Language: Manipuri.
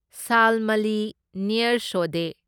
ꯁꯥꯜꯃꯂꯤ ꯅꯤꯌꯔ ꯁꯣꯗꯦ